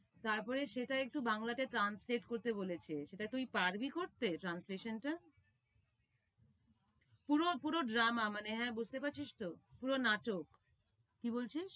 তারপরে সেটা একটু বাংলাতে translate করতে বলেছে, সেটা তুই পারবি করতে translate টা? পুরো পুরো drama মানে হ্যাঁ বুঝতে পারছিস তো, পুরো নাটক? কি বলছিস?